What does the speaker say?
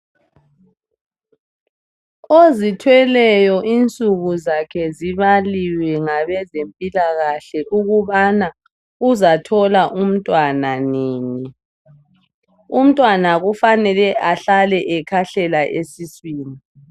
Ozithweleyo insuku zakhe zibaliwe ngabezempilakahle ukubana uzathola umntwana nini. Umntwana kufanele ahlale ekhahlela esiswini.